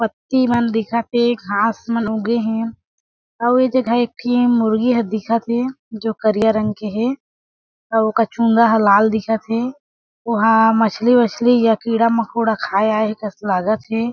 पत्ती मन दिखत हे घास मन उगे हे अउ ए जगह एक ठी मुर्गी ह दिखत हे जो करिया रंग के हे अउ ओकर चूंदा ह लाल दिखत हे ओहा मछली-वछली या कीड़ा मकोड़ा खाये आए हे कस लागत हे।